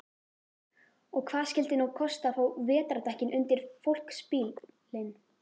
Og hvað skyldi nú kosta að fá vetrardekkin undir fólksbílinn?